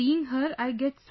Seeing her, I get so